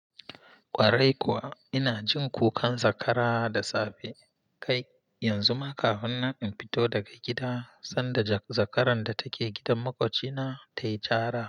Ƙwarai kuwa, ina jin kukan zakara da safe, kai, yanzu ma kafinnan in fito daga gida, sanda zakaran da take gidan maƙwabcina, ta yi cara.